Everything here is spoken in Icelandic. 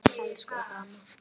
Elsku Ebba amma.